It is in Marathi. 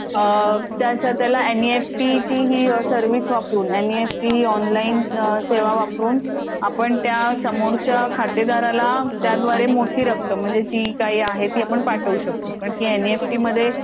त्याच हाताला एनइएफटीची ही सर्विस वापरून एन इ एफ टी ही ऑनलाइन सेवा वापरून आपण त्या समोरच्या खातेदाराला त्याद्वारे मोठी रक्कम म्हणजे जी काही आहे ती आपण पाठवू शकतो. पण ती एनईएफटी मध्ये